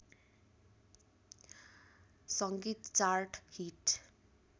सङ्गीत chart hit